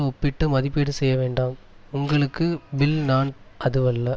ஒப்பிட்டு மதிப்பீடு செய்ய வேண்டாம் உங்களுக்கு பில் நான் அதுவல்ல